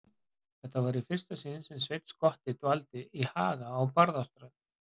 Þetta var í fyrsta sinn sem Sveinn skotti dvaldi í Haga á Barðaströnd.